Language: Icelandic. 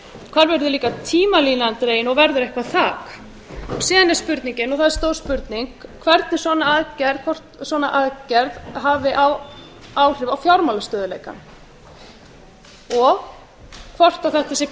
hvar verður líka tímalínan dregin og verður eitthvert þak síðan er spurningin og það er stór spurning hvernig og hvort svona aðgerð hafi áhrif á fjármálastöðugleika og hvort þetta sé